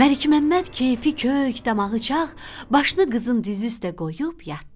Məlikməmməd kefi kök, damağı çağ, başını qızın dizi üstə qoyub yatdı.